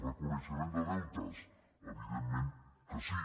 reconeixement de deutes evidentment que sí